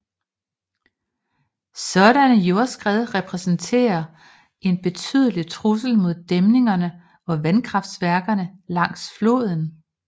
Sådanne jordskred repræsenterer en betydelig trussel mod dæmningerne og vandkraftværkerne langs floden